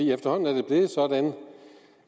efterhånden er det blevet sådan